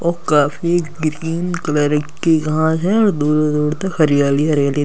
और काफी green colour की घास है और दूर दूर तक हरियाली हरियाली --